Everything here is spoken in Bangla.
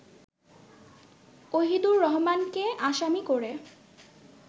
ওহিদুর রহমানকে আসামি করে